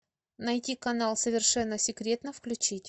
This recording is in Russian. найти канал совершенно секретно включить